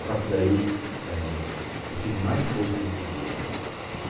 A partir daí eh, eu tive mais força na minha vida, né?